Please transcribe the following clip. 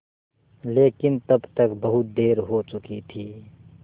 लेकिन तब तक बहुत देर हो चुकी थी